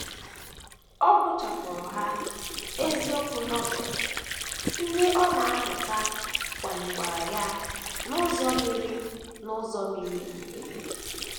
Ọ gụchapụrụ ha, eziokwu Novel ndị ọ na - amụta kwalikwara ya n’ụzọ miri n’ụzọ miri emi.